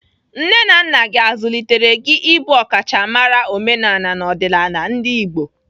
Nne na nna gị azụlitere gị ịbụ ọkachamara omenaala na ọdịnala Ndigbo?